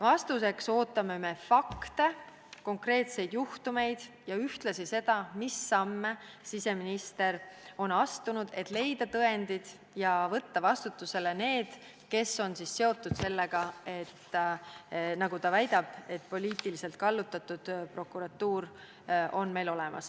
Vastuseks ootame fakte, konkreetseid juhtumeid ja ühtlasi infot, mis samme siseminister on astunud, et leida tõendid ja võtta vastutusele inimesed, kes on seotud sellega, nagu ta väidab, et poliitiliselt kallutatud prokuratuur on meil olemas.